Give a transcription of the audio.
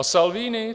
A Salvini?